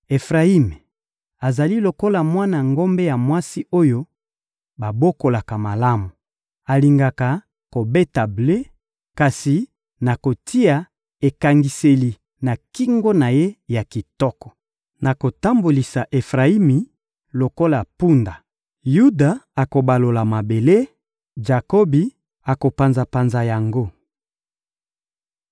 Efrayimi azali lokola mwana ngombe ya mwasi oyo babokola malamu, alingaka kobeta ble; kasi nakotia ekangiseli na kingo na ye ya kitoko. Nakotambolisa Efrayimi lokola mpunda, Yuda akobalola mabele, Jakobi akopanza-panza yango.